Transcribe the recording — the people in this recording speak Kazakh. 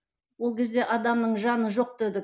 ол кезде адамның жаны жоқ дедік